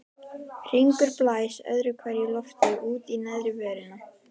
Hringur blæs öðru hverju lofti út í neðri vörina.